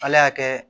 Ala y'a kɛ